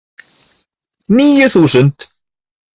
Níu þúsund